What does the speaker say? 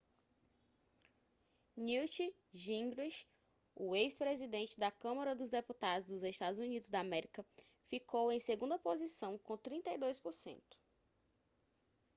newt gingrich o ex-presidente da câmara dos deputados dos eua ficou em segunda posição com 32 por cento